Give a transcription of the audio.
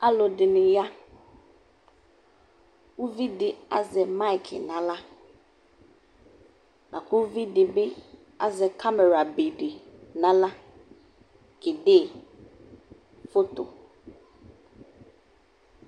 Alʋdɩnɩ ya Uvi dɩ azɛ mayɩkɩ nʋ aɣla la kʋ uv dɩ bɩ azɛ kamerabe dɩ nʋ aɣla kede foto